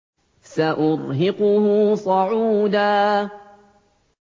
سَأُرْهِقُهُ صَعُودًا